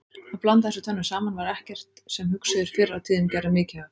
Að blanda þessu tvennu saman var ekkert sem hugsuðir fyrr á tíðum gerðu mikið af.